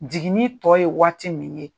Jigini tɔ ye waati min ye